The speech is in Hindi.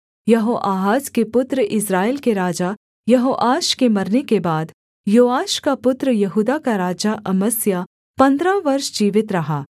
यहोआहाज के पुत्र इस्राएल के राजा यहोआश के मरने के बाद योआश का पुत्र यहूदा का राजा अमस्याह पन्द्रह वर्ष जीवित रहा